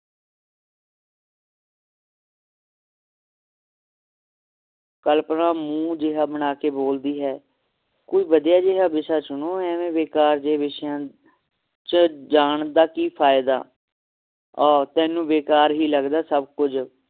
ਕਲਪਨਾ ਮੂੰਹ ਜੇਹਾ ਬਣਾ ਕੇ ਬੋਲਦੀ ਹੈ ਕੋਈ ਵਧੀਆ ਜੇਹਾ ਵਿਸ਼ਾ ਚੁਣੋ ਐਵੇ ਬੇਕਾਰ ਜਹੇ ਵਿਸ਼ਿਆਂ ਚ ਜਾਣ ਦਾ ਕੀ ਫਾਇਦਾ ਆ ਤੈਨੂੰ ਬੇਕਾਰ ਹੀ ਲੱਗਦਾ ਸਭ ਕੁਛ